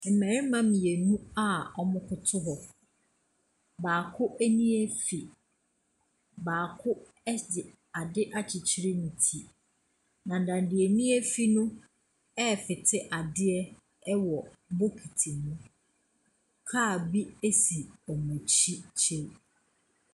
Mmarima mmienu a wɔkoto hɔ. Baako ani afi. Baako de ade akyekyere ne ti, na deɛ n'ani afi no refete adeɛ wɔ bokiti mu. Kaa bi si wɔn akyi kyiri.